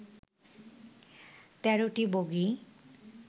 তেরোটি বগিই